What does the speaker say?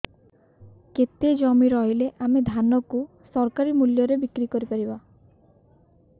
କେତେ ଜମି ରହିଲେ ଆମେ ଧାନ କୁ ସରକାରୀ ମୂଲ୍ଯରେ ବିକ୍ରି କରିପାରିବା